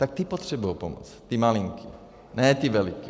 Tak ty potřebují pomoc, ty malinký, ne ty veliký.